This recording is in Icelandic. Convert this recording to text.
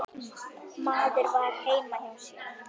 Maður var heima hjá sér.